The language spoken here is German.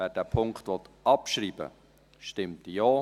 Wer diesen Punkt abschreiben will, stimmt Ja,